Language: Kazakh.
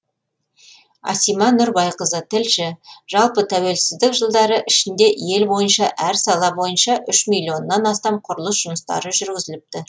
асима нұрбайқызы тілші жалпы тәуелсіздік жылдары ішінде ел бойынша әр сала бойынша үш миллионнан астам құрылыс жұмыстары жүргізіліпті